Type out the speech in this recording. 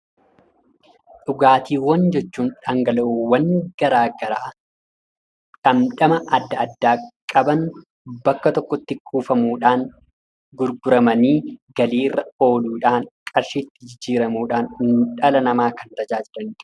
Dhugaatiiwwan jechuun dhangala'oowwan garaagaraa dhamdhama adda addaa qaban bakka tokkotti kuufamuudhaan gurguramanii galiirra ooluudhaan qarshiitti jijjiiramuudhaan dhala namaa kan tajaajilanidha.